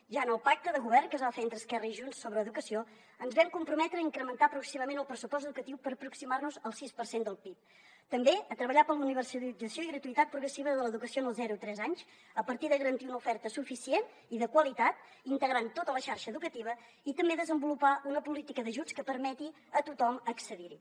ja en el pacte de govern que es va fer entre esquerra i junts sobre educació ens vam comprometre a incrementar el pressupost educatiu per aproximar nos al sis per cent del pib també a treballar per a la universalització i gratuïtat progressiva de l’educació en els zero tres anys a partir de garantir una oferta suficient i de qualitat i integrant tota la xarxa educativa i també a desenvolupar una política d’ajuts que permeti a tothom accedir hi